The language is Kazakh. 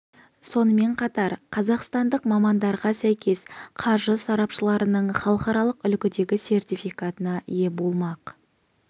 сонымен қатар қазақстандық мамандарға сәйкес қаржы сарапшыларының халықаралық үлгідегі сертификатына ие болмақ